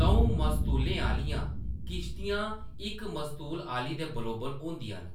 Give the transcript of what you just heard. द'ऊं मस्तूलें आह्‌‌‌लियां किस्तियां इक मस्तूल आह्‌‌‌ली दे बरोबर होंदियां न,